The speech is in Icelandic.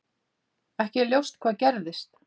Ekki er ljóst hvað gerðist.